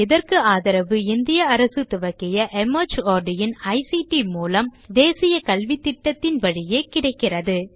இதற்கு ஆதரவு இந்திய அரசு துவக்கிய மார்ட் இன் ஐசிடி மூலம் தேசிய கல்வித்திட்டத்தின் வழியே கிடைக்கிறது